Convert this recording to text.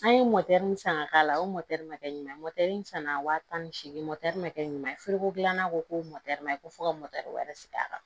An ye min san ka k'a la o ma kɛ ɲuman ye sanna waa tan ni seegin ma kɛ ɲuman ye feereko dilanna ko ko ma ko fo ka wɛrɛ sigi a kan